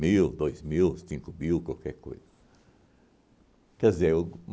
mil, dois mil, cinco mil, qualquer coisa. Quer dizer, o